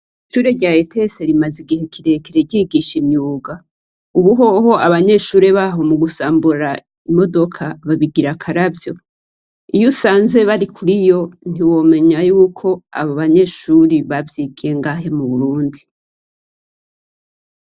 Ishure rya ETS rimaze igihe kirekire ryigisha imyuga. Ubuhoho abanyeshure baho mu gusambura imodoka babigira akaravyo. Iyo usanze bari kuri yo, ntiwomenya yuko abo banyeshure bavyigiye ngaha mu Burundi.